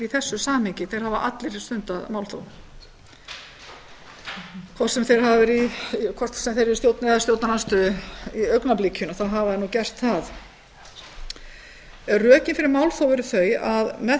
þessu samhengi þeir hafa allir stundað málþóf hvort sem þeir eru í stjórn eða stjórnarandstöðu í augnablikinu þá hafa þeir gert það rökin fyrir málþófi eru þau að með